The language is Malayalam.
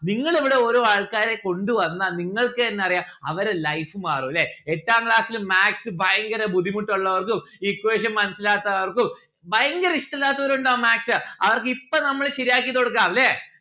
നിങ്ങൾ ഇവിടെ ഓരോ ആൾക്കാരെ കൊണ്ട് വന്നാ നിങ്ങൾക്കെന്നെ അറിയാ അവരെ life മാറും അല്ലെ എട്ടാം class ല് maths ഭയങ്കര ബുദ്ധിമുട്ട് ഉള്ളോർക്കും equation മനസ്സിലാത്തവർക്കും ഭയങ്കര ഇഷ്ടല്ലാത്തവർ ഉണ്ടാവും maths അവർക്ക് ഇപ്പം നമ്മള് ശെരിയാക്കി കൊടുക്കാം. അല്ലെ